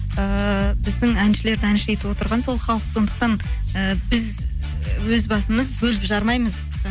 ыыы біздің әншілерді әнші етіп отырған сол халық сондықтан і біз өз басымыз бөліп жармаймыз